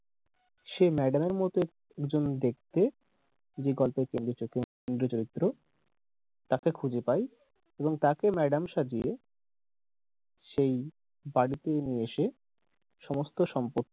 সেই ম্যাডাম এর মতো একজন দেখতে বিকল্প একজন কেন্দ্রীয় চরিত্র তাকে খুঁজে পাই এবং তাকে ম্যাডাম সাজিয়ে সেই বাড়িতে নিয়ে এসে সমস্ত সম্পত্তি